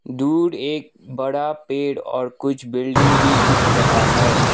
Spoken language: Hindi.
दूर एक बड़ा पेड़ और कुछ बिल्डिंग भी दिख रहा है।